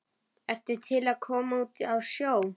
ertu til í að koma út á sjó?